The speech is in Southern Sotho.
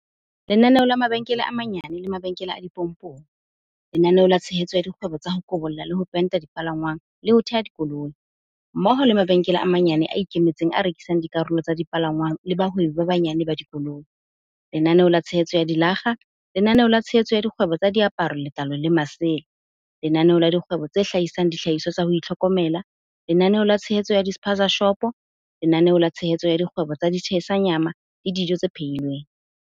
Lenaneo la mabaka a manyane le mabenkele a dipompong Lenaneo la tshehetso ya dikgwebo tsa ho kobolla le ho penta dipalangwang le ho teha dikoloi, mmoho le mabenkele a manyane a ikemetseng a rekisang dikarolo tsa dipalangwang le bahwebi ba banyane ba dikoloi, Lenaneo la tshehetso ya dilakga Lenaneo la tshehetso ya dikgwebo tsa diaparo, letlalo le masela Lenaneo la dikgwebo tse hlahisang dihlahiswa tsa ho itlhokomela Lenaneo la tshehetso ya di-spaza-shopo Lenaneo la tshehetso ya dikgwebo tsa di-tshisa nyama le dijo tse phehi lweng